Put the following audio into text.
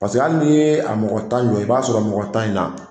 hali n'i ye a mɔgɔ tan jɔ i b'a sɔrɔ mɔgɔ tan in na